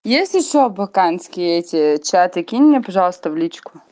есть ещё абаканские эти чаты кинь мне пожалуйста в личку